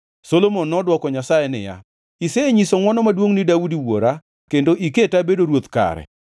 Solomon nodwoko Nyasaye niya, “isenyiso ngʼwono maduongʼ ni Daudi wuora kendo iketa abedo ruoth kare.